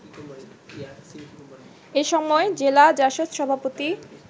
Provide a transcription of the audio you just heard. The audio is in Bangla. এসময় জেলা জাসদ সভাপতি